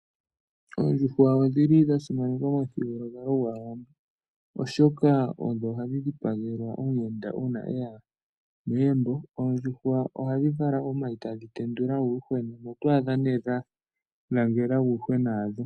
Oondjuhwa odhi li dha simanekwa momuthigululwakalo gwAawambo, oshoka odho hadhi dhipagelwa omuyenda uuna e ya megumbo. Oondjuhwa ohadhi vala omayi tadhi tendula uuyuhwena. Oto adha nee dha langela uuyuhwena wadho.